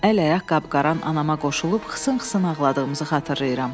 Əl-ayaq qap-qaran anama qoşulub xısın-xısın ağladığımızı xatırlayıram.